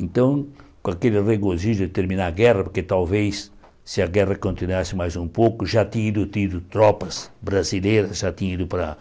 Então, com aquele regozijo de terminar a guerra, porque talvez se a guerra continuasse mais um pouco, já tinha ido tido tropas brasileiras, já tinha ido para